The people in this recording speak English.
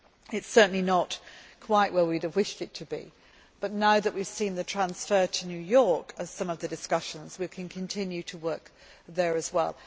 It is certainly not quite where we would have wished it to be, but now that we have seen the transfer to New York of some of the discussions, we can continue to work there as well.